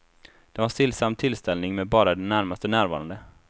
Det var en stillsam tillställning med bara de närmaste närvarande.